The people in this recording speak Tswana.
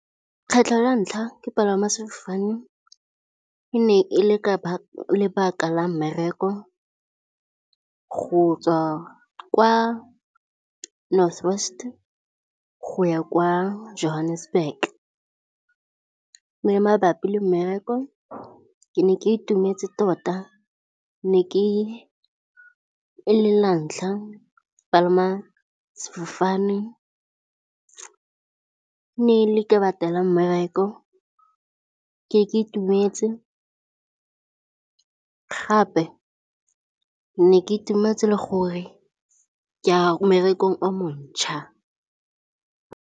Kgetlho la ntlha ke palama sefofane e ne e le ka lebaka la mmereko go tswa kwa North West go ya kwa Johannesburg, e le mabapi le mmereko. Ke ne ke itumetse tota e le la ntlha palama sefofane. Ne le ka lebaka la mmereko ke itumetse, gape ne ke itumetse le gore ka mmerekong a montšhwa.